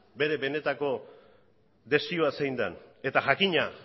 bere benetako desioa zein den eta jakina